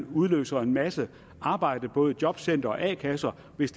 udløse en masse arbejde i både jobcentre og a kasser hvis